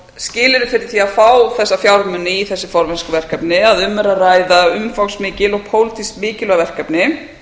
skilyrði fyrir því að fá þessa fjármuni í þessi formennskuverkefni er að um er að ræða umfangsmikil og pólitískt mikilvæg verkefni